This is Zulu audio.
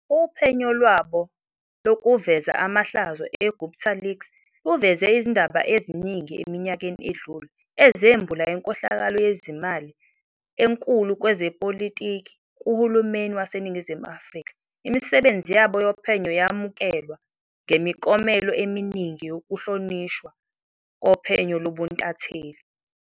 Uphenyo lwabo lokuveza amaahlazo e-GuptaLeaks luveze izindaba eziningi eminyakeni edlule ezembula inkohlakalo yezimali enkulu kwezepolitiki kuhulumeni waseNingizimu Afrika, imisebenzi yabo yophenyo yamukelwa ngemiklomelo eminingi yokuhlonishwa kophenyo lobuntatheli.